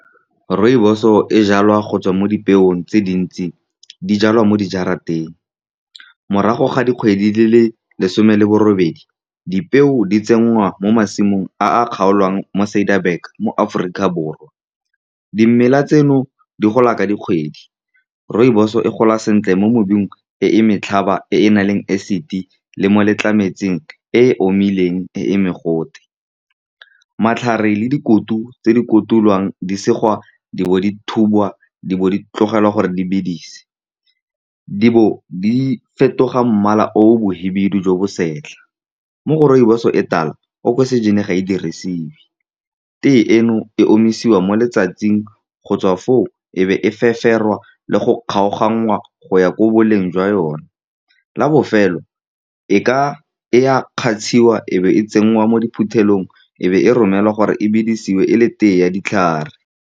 Rooibos-o e jalwa go tswa mo dipeong tse dintsi, di jalwa mo di jarateng. Morago ga dikgwedi di le lesome le borobedi, dipeo di tsenngwa mo masimong a a kgaolwang mo Ciderberg mo Aforika Borwa. Dimela tseno di gola ka dikgwedi. Rooibos-e e gola sentle mo mebung e e motlhaba e e nang le acid le mo letlametlametseng e e omileng e e mogote. Matlhare le dikutu tse di kotulwang di segwa, di bo di thubiwa, di bo di tlogelwa gore di bedise, di bo di fetoga mmala o mokhibidu jo bo setlha. Mo go rooibos-o e e tala oxygen-i ga e dirisiwe. Tea eno e omisiwa mo letsatsing, go tswa foo e be e feferwa le go kgaoganngwa go ya ko boleng jwa yone la bofelo, e ka e a kgatsiwa, e be e tsenngwa mo diphuthelong, e be e romelwa gore e bidisiwe e le tea ya ditlhare.